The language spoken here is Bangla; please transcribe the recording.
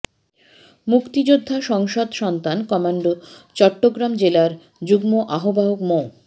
মুক্তিযোদ্ধা সংসদ সন্তান কমান্ড চট্টগ্রাম জেলার যুগ্ম আহ্বায়ক মো